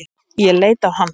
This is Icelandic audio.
Ég leit á hann.